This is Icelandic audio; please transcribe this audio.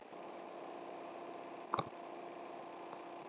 Góði Guð, láttu Arnar ekki fá köst.